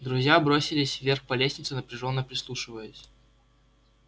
друзья бросились вверх по лестнице напряжённо прислушиваясь